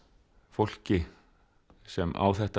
fólki sem á þetta